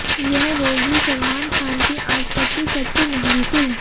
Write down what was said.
यह होगी सलमान खान की आज तक की सबसे महंगी फिल्म